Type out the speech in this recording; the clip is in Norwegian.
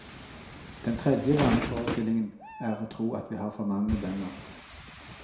Den tredje vaneforestillingen er å tro at vi har for mange bønder.